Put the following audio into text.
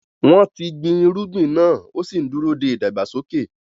Wọ́n ti gbin irúgbìn náà ó sì ń dúró de ìdàgbàsókè.